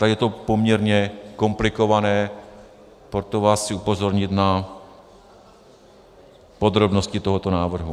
Tady je to poměrně komplikované, proto vás chci upozornit na podrobnosti tohoto návrhu.